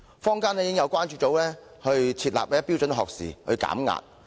坊間已有關注組設立標準學時以助減壓。